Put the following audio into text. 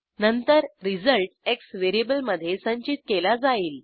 नंतर result X व्हेरिएबलमधे संचित केला जाईल